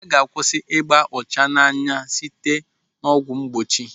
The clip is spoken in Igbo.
Aga akwụsị ịba ọcha n'anya site n'ọgwụ mgbochi.